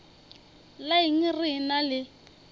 la eng re ena le